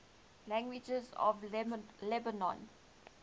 languages of lebanon